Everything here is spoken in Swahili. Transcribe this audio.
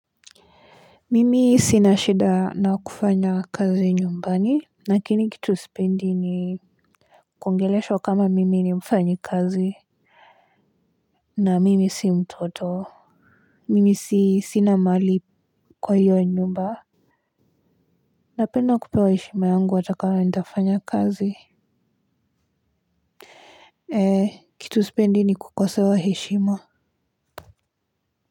Mimi sinashida na kufanya kazi nyumbani lakini kitu spendi ni kuongeleshwa kama mimi ni mfanyi kazi. Na mimi si mtoto. Mimi sinamali kwa hiyo nyumba. Napenda kupewa heshima yangu wata kama nitafanya kazi. Eee kitu sipendi ni kukosewa heshima.